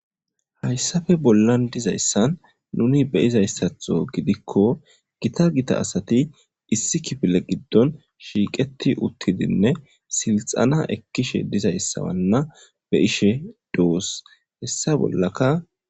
Hayssape bollan de'izayssan nuni be'izayisato gidiko gita gita asati issi kifile giddon shiqeti uttidine sidhana ekishe dizayssamana be'ishe dos heyssa bollaka.